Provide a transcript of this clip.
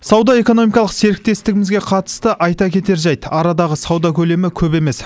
сауда экономикалық серіктестігімізге қатысты айта кетер жайт арадағы сауда көлемі көп емес